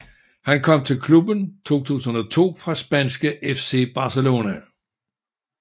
Han kom til klubben i 2002 fra spanske FC Barcelona